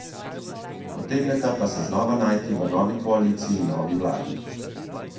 Utegneta pa se znova najti v novi koaliciji in novi vladi.